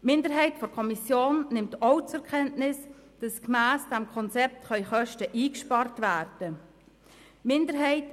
Die Minderheit der Kommission nimmt auch zur Kenntnis, dass gemäss dem Konzept Kosten eingespart werden können.